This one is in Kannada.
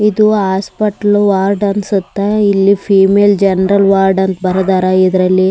ಇದು ಹಾಸ್ಪಿಟಲ್ ವಾರ್ಡ್ ಅನ್ಸುತ್ತೆ ಇಲ್ಲಿ ಫೀಮೇಲ್ ಜನರಲ್ ವಾರ್ಡ್ ಅಂತ ಬರೆದರ ಇದ್ರಲ್ಲಿ --